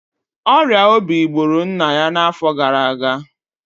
ọrịa obi gburu nna ya n'afọ gara aga